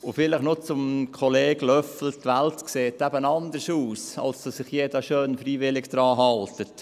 Vielleicht noch zu Kollege Löffel: Die Welt sieht eben anders aus, als dass sich jeder freiwillig schön daran halten würde.